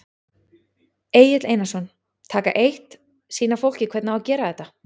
Egill Einarsson: Taka eitt, sýna fólki hvernig á að gera þetta?